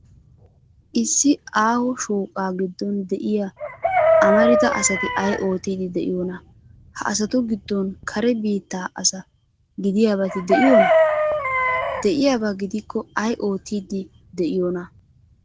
Issi aaho shooqaa giddon de'iya amarida asati ay oottiiddi de'iyoonaa? Ha asatu giddoppe kare biittaa asa gidiyabati de'iyoonaa? De'iyaaba gidikko ay oottiiddi de'iyoonaa?